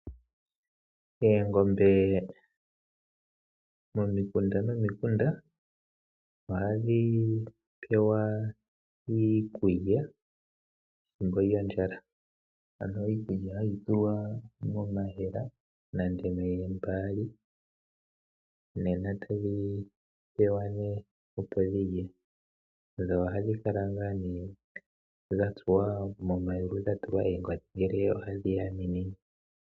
Oongombe momikunda nomikunda ohadhi pewa iikulya pethimbo lyondjala. Iikulya ohayi tulwa momayemele nenge moombaali, e tadhi pewa nduno opo dhi lye. Ohadhi kala wo dha tsuwa momayulu dha tulwa oongodhi ngele ohadhi yaminine.